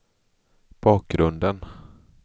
bakgrunden